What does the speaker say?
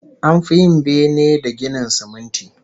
An fi yin bene da ginin siminti